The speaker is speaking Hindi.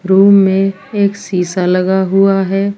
रूम में एक सीसा लगा हुआ है।